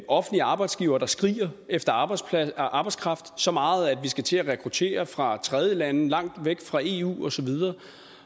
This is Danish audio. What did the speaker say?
offentlige arbejdsgivere der skriger efter arbejdskraft arbejdskraft så meget at vi skal til at rekruttere fra tredjelande langt væk fra eu og så videre